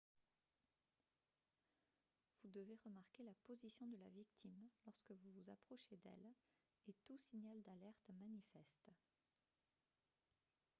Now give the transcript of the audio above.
vous devez remarquer la position de la victime lorsque vous vous approchez d'elle et tout signal d'alerte manifeste